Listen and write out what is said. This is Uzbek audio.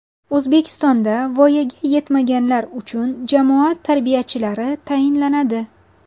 O‘zbekistonda voyaga yetmaganlar uchun jamoat tarbiyachilari tayinlanadi.